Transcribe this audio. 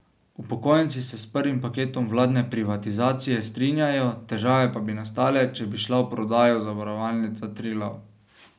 Upokojenci se s prvim paketom vladne privatizacije strinjajo, težave pa bi nastale, če bi šla v prodajo Zavarovalnica Triglav.